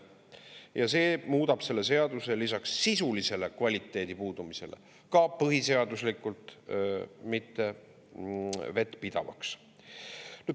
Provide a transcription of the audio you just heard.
Ja see muudab selle seaduse lisaks sisulisele kvaliteedi puudumisele ka põhiseaduslikult mitte vettpidavaks.